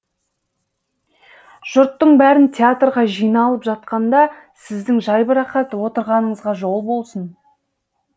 жұрттың бәрін театрға жиналып жатқанда сіздің жайбырақат отырғаныңызға жол болсын